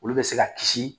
Olu bɛ se ka kisi